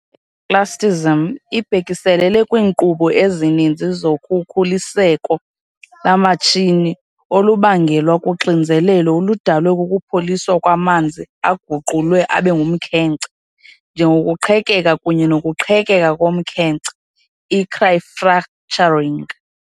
I-Cryoclastism ibhekiselele kwiinkqubo ezininzi zokhukuliseko lomatshini olubangelwa luxinzelelo oludalwe kukupholisa kwamanzi aguqulwe abe ngumkhenkce, njengokuqhekeka kunye nokuqhekeka komkhenkce, i-cryofracturing.